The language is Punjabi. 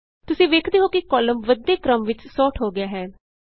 ਤੁਸੀਂ ਵੇਖਦੇ ਹੋ ਕਿ ਕਾਲਮ ਵੱਧਦੇ ਕ੍ਰਮ ਵਿਚ ਸੋਰਟ ਹੋ ਗਿਆ ਹੈ